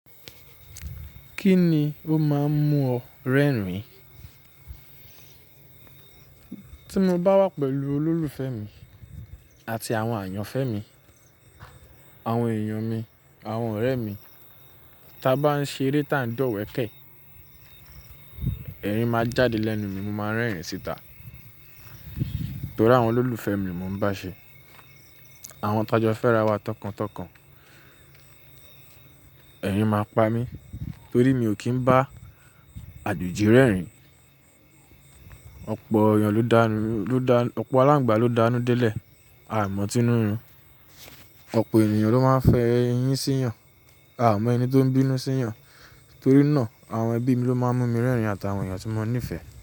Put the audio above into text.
Kí ni ó máa ń mú ọ rẹ́rìn-ín? Tí mo bá wà pẹ̀lú olólùfẹ́ mi àti àwọn àyànfẹ́ mi, àwọn èèyàn mi, àwọn ọ̀rẹ́ mi, tí a bá ń ṣe eré tá ń dọ̀wẹ̀ kẹ̀, ẹ̀rín máa jáde lẹ́nu mi, mo máa ń rẹ́rìn-ín síta. Torí àwọn olólùfẹ́ mi mo ń bá a ṣe. Àwọn tajọ́ fẹ́ra wa tọkàntọkàn. Ẹ̀rín máa ń pa mí torí mi ò kí ń bá àjòjì rẹ́rìn-ín. Ọ̀pọ̀ èèyàn ló dànù–lo dán, ọ̀pọ̀ aláǹgbà ló danù dé lẹ̀, a ò mọ̀ ǹ tí inú ń rún. Ọ̀pọ̀ ènìyàn ló máa ń fẹ́ eyín síyan, a ò mọ ẹni tó ń bínú sí yan. Torí náà àwọn ẹbí mi ló máa ń mú mi rẹ́rìn-ín àti àwọn èèyàn tí mo nífẹ̀ẹ́.